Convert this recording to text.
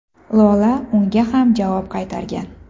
Lola unga ham javob qaytargan.